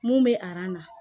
Mun bɛ na